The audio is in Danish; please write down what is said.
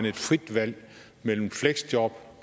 et frit valg mellem fleksjob